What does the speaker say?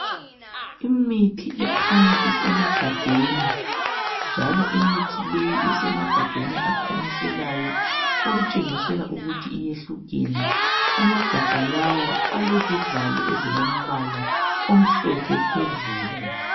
Imithi ekhanya isemagabheni njalo imithi leyi isemagabheni akhanyiselayo okutshengisela ukuthi iyehlukene, amagabha lawa alezivalo ezilombala omhlophe phezulu.